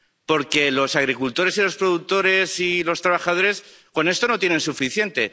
Porque los agricultores, los productores y los trabajadores con esto no tienen suficiente.